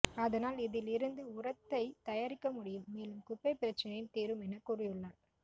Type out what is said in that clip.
அதனால் இதில் இருந்து உரத்தை தயாரிக்க முடியும் மேலும் குப்பை பிரச்சினையும் தீரும் என கூறியுள்ளார்